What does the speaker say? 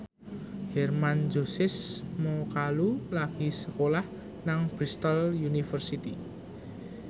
Hermann Josis Mokalu lagi sekolah nang Bristol university